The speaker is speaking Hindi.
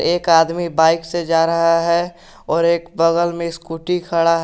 एक आदमी बाइक से जा रहा है और एक बगल में स्कूटी खड़ा है।